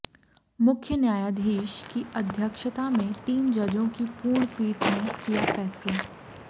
मुख्य न्यायाधीश की अध्यक्षता में तीन जजों की पूर्ण पीठ ने किया फैसला